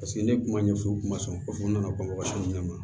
Paseke ne kun b'a ɲɛfɔ u ma sɔn n nana bamakɔ ɲinɛ ma